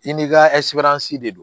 I ni ka de don